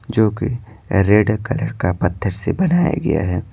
जो कि red colour का पत्थर से बनाया गया है।